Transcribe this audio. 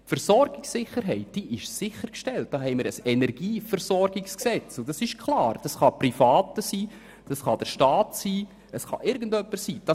Dafür haben wir ein Energieversorgungsgesetz, und in diesem ist geregelt, dass es ein privates Unternehmen ebenso wie der Staat oder irgendjemand anders tun kann.